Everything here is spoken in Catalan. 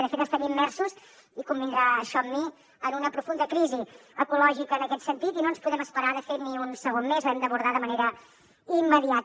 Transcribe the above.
de fet estem immersos i convindrà això amb mi en una profunda crisi ecològica en aquest sentit i no ens podem esperar de fet ni un segon més l’hem d’abordar de manera immediata